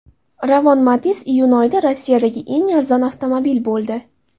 Ravon Matiz iyun oyida Rossiyadagi eng arzon avtomobil bo‘ldi.